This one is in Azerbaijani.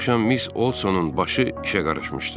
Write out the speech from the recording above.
Bir axşam Miss Odsonun başı işə qarışmışdı.